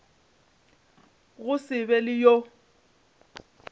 go se be le yo